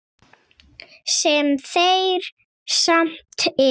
Sem þeir samt eru.